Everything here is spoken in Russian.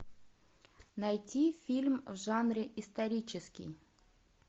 найти фильм в жанре исторический